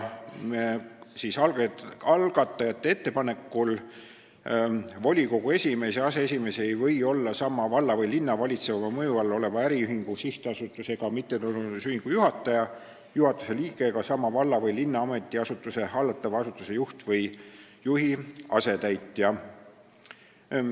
Algajate ettepanekul ei või volikogu esimees ja aseesimees olla sama valla või linna valitseva mõju all oleva äriühingu, sihtasutuse ega mittetulundusühingu juhataja, juhatuse liige ega sama valla või linna ametiasutuse hallatava asutuse juht või juhi asetäitja.